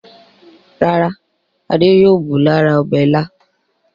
Rárá, Adé yóò bù lára ọbẹ̀ Ìlá.